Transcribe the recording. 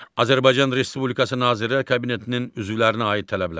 Azərbaycan Respublikası Nazirlər Kabinetinin üzvlərinə aid tələblər.